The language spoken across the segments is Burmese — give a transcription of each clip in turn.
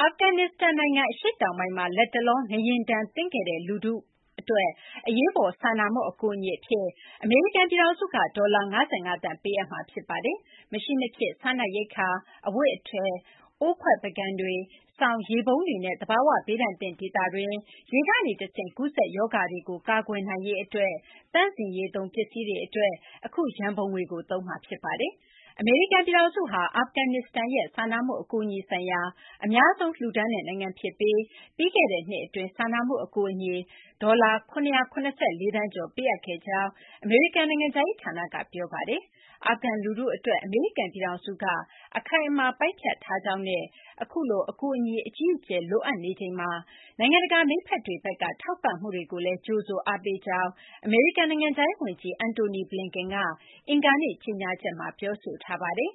အာဖဂန်နစ္စတန် နိုင်ငံ အရှေ့တောင်ပိုင်းမှာ လတ်တလော ငလျင်ဒဏ်သင့်ခဲ့တဲ့ လူထုကို အရေးပေါ် စာနာမှု အကူအညီအဖြစ် အမေရိကန် ပြည်ထောင်စုက ဒေါ်လာ ၅၅ သန်း ပေးအပ်မှာ ဖြစ်ပါတယ်။ မရှိမဖြစ် စားနပ်ရိက္ခာတွေ၊ အဝတ်အထည်၊ အိုးခွက်ပန်ကန်တွေ၊ စောင်၊ ရေပုံးတွေနဲ့ သဘာ၀ ဘေးဒဏ်သင့် ဒေသတွင်း ရေကနေ တဆင့် ကူးစက်ရောဂါတွေကို ကာကွယ်နိုင်ရေး အတွက် သန့်စင်ရေးသုံး ပစ္စည်းတွေ အတွက် အခု ရန်ပုံငွေကို သုံးမှာ ဖြစ်ပါတယ်။ အမေရိကန် ပြည်ထောင်စုဟာ အာဖဂန်နစ္စတန်ရဲ့ စာနာမှု အကူအညီ ဆိုင်ရာ အများဆုံး လှူဒါန်းတဲ့ နိုင်ငံ ဖြစ်ပြီး ပြီးခဲ့တဲ့နှစ် အတွင်း စာနာမှု အကူအညီ ဒေါ်လာ ၇၇၄ သန်းကျော် ပေးအပ်ခဲ့ကြောင်း အမေရိကန် နိုင်ငံခြားရေး ဌာနက ပြောဆိုထားပါတယ်။ အာဖဂန် လူထု အတွက် အမေရိကန် ပြည်ထောင်စုက အခိုင်အမာ ပိုင်းဖြတ်ထားကြောင်းနဲ့ အခုလို အကူအညီ အကြီးအကျယ် လိုအပ်နေချိန်မှာ နိုင်ငံတကာ မိတ်ဖက်တွေဘက်က ထောက်ပံ့မှုတွေကိုလည်း ကြိုဆို အားပေးကြောင်း အမေရိကန် နိုင်ငံခြားရေး ဝန်ကြီး Antony Blinken က အင်္ဂါနေ့ ကြေညာချက်မှာ ဖော်ပြပါတယ်။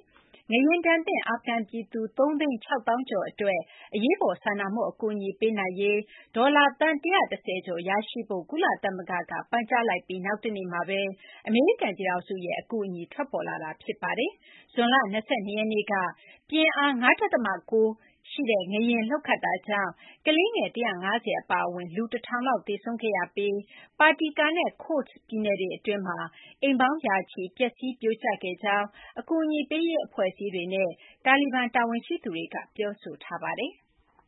ငလျင်ဒဏ်သင့် အာဖဂန်ပြည်သူ ၃၆၀,၀၀၀ ကျော် အတွက် အရေးပေါ် စာနာမှု အကူအညီပေးနိုင်ရေး ဒေါ်လာ သန်း ၁၁၀ ကျော် ရရှိဖို့ ကုလသမဂ္ဂဘက်က ပန်ကြားလိုက်ပြီး နောက်တနေ့မှာဘဲ အမေရိကန် ပြည်ထောင်စုရဲ့ အကူအညီ ထွက်ပေါ်လာတာ ဖြစ်ပါတယ်။ ဇွန်လ ၂၂ ရက်နေ့က ပြင်းအား ၅ ဒသမ ၉ ငလျင် လှုပ်ခတ်တာကြောင့် ကလေးငယ် ၁၅၀ အပါအဝင် လူ ၁၀၀၀ လောက် သေဆုံးခဲ့ရပြီး Paktika နဲ့ Khost ပြည်နယ်တွေ အတွင်းမှာ အိမ်ပေါင်း ရာချီ ပျက်စီး ပြိုကျခဲ့ကြောင်း အကူအညီပေးရေး အဖွဲ့အစည်းတွေနဲ့ တာလီဘန် တာဝန်ရှိသူတွေက ပြောဆိုထားပါတယ်။